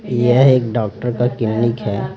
यह एक डॉक्टर का क्लीनिक है।